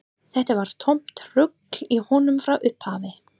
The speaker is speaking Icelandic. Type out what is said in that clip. Þetta var tómt rugl í honum frá upphafi.